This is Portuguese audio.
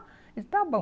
está bom.